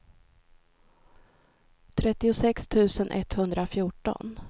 trettiosex tusen etthundrafjorton